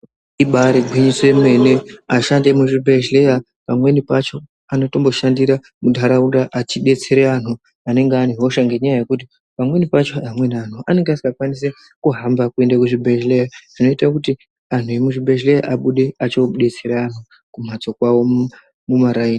Ibariwinyiso yemene vashandi vemuzvibhedhlera pamweni pacho vanotomboshandira muntaraunda vachibetsera Vantu anenga aine hosha nenyaya yekuti pamweni pacho antu anenga asikakwanisi kuhamba kuenda kuchibhedhlera zvinoita kuti anhu epachibhedhlera abude achinobetsera antu kumhatso kwavo.